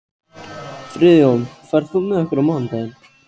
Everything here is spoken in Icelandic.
Friðjón, ferð þú með okkur á mánudaginn?